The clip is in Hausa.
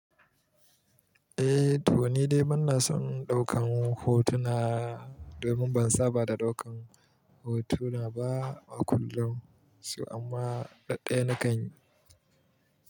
Eh, to ni dai bana son ɗaukan hotuna domin ban saba da ɗaukan hotuna ba a kullum, amma ɗaɗɗen nakan yi.